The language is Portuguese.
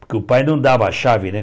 Porque o pai não dava a chave, né?